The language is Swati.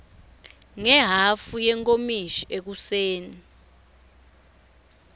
ngehhafu yenkomishi ekuseni